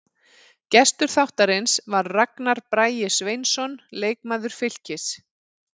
Gestur þáttarins var Ragnar Bragi Sveinsson, leikmaður Fylkis.